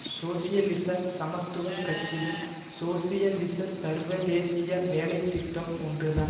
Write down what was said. சோசியலிச சமத்துவ கட்சியின் சோசியலிச சர்வதேசிய வேலை திட்டம் ஒன்று தான்